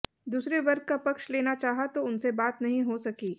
दूसरे वर्ग का पक्ष लेना चाहा तो उनसे बात नहीं हो सकी